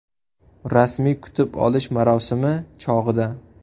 Rasmiy kutib olish marosimi chog‘ida.